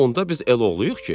A, onda biz elloğluyuq ki.